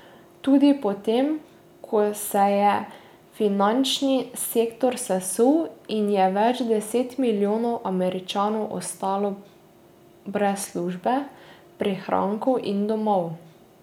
Tudi po tem, ko se je finančni sektor sesul in je več deset milijonov Američanov ostalo brez službe, prihrankov in domov.